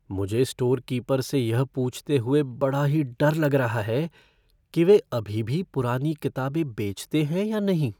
मुझे store keeper से यह पूछते हुए बड़ा ही डर लग रहा है कि वे अभी भी पुरानी किताबें बेचते हैं या नहीं।